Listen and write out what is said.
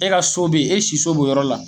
E ka so be yen, e si so b'o yɔrɔ la